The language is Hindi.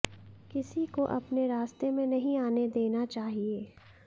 किसी को अपने रास्ते में नहीं आने देना चाहिए